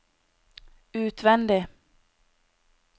utvendig